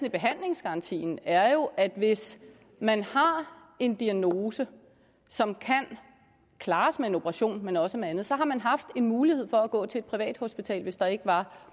i behandlingsgarantien er jo at hvis man har en diagnose som kan klares med en operation men også med andet så har man haft en mulighed for at gå til et privathospital hvis der ikke var